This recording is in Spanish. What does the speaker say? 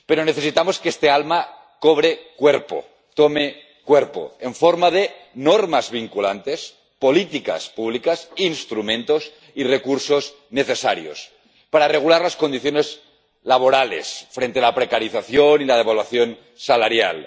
Pero necesitamos que este alma cobre cuerpo, tome cuerpo en forma de normas vinculantes, políticas públicas, instrumentos y recursos necesarios para regular las condiciones laborales frente a la precarización y la devaluación salarial